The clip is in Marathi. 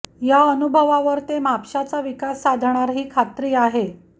त्या अनुभवावर ते म्हापशाचा विकास साधणार ही खात्री आहे